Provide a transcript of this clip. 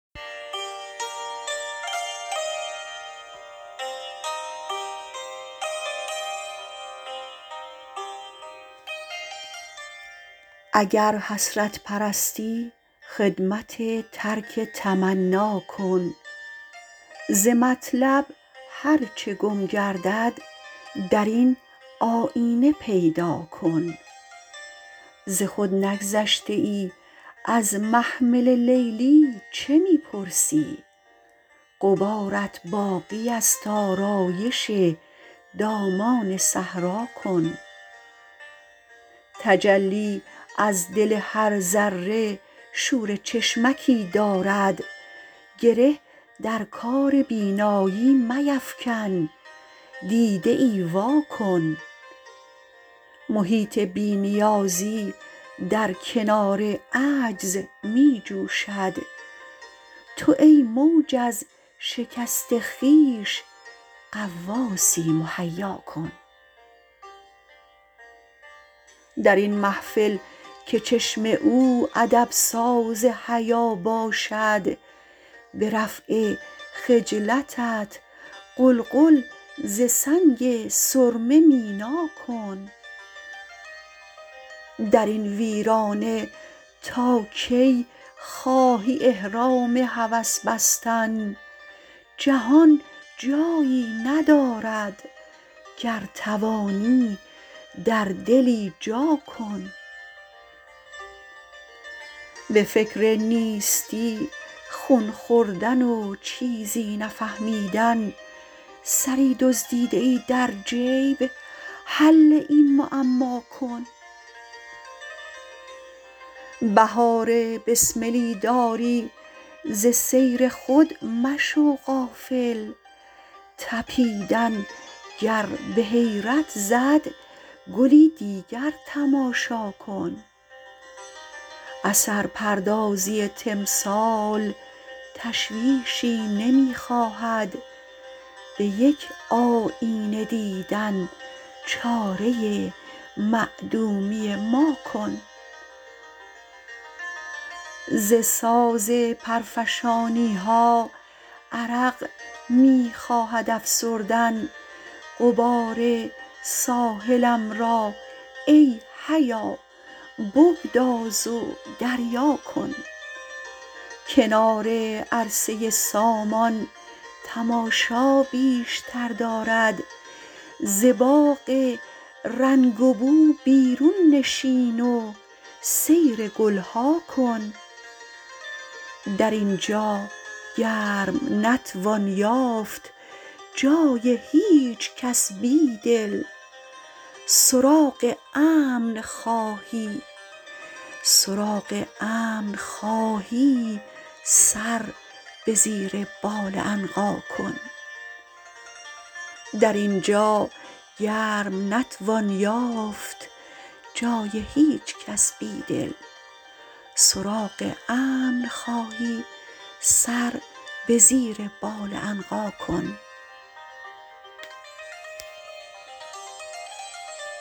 اگر حسرت پرستی خدمت ترک تمنا کن ز مطلب هر چه گم کردد درین آیینه پیدا کن ز خود نگذشته ای از محمل لیلی چه می پرسی غبارت باقی است آرایش دامان صحرا کن تجلی از دل هر ذره شور چشمکی دارد گره درکار بینایی میفکن دیده ای و اکن محیط بی نیازی در کنار عجز می جوشد تو ای موج از شکست خویش غواصی مهیا کن درین محفل که چشم او ادب ساز حیا باشد به رفع خجلتت قلقل ز سنگ سرمه مینا کن درین ویرانه تا کی خواهی احرام هوس بستن جهان جایی ندارد گر توانی در دلی جا کن به فکر نیستی خون خوردن و چیزی نفهمیدن سری دزدیده ای در جیب حل این معماکن بهار بسملی داری ز سیر خود مشو غافل تپیدن گر به حیرت زدگلی دیگر تماشاکن اثر پردازی تمثال تشویشی نمی خواهد به یک آیینه دیدن چاره معدومی ماکن ز ساز پرفشانیها عرق می خواهد افسردن غبار ساحلم را ای حیا بگداز و دریاکن کنار عرصه سامان تماشا بیشتر دارد ز باغ رنگ و بو بیرون نشین و سیر گلها کن در اینجاگرم نتوان یافت جای هیچکس بیدل سراغ امن خواهی سر به زیر بال عنقا کن